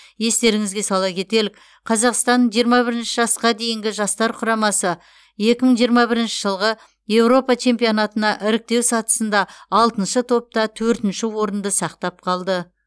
естеріңізге сала кетелік қазақстан жиырма бірінші жасқа дейінгі жастар құрамасы екі мың жиырма бірінші жылғы еуропа чемпионатына іріктеу сатысында алтыншы топта төртінші орынды сақтап қалды